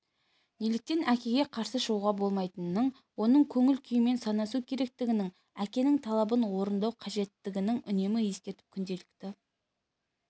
неліктен әкеге қарсы шығуға болмайтынын оның көңіл-күйімен санасу керектігін әкенің талабын орындау қажеттігін үнемі ескертіп күнделікті